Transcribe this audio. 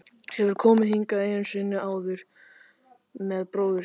Hefur komið hingað einu sinni áður með bróður sínum.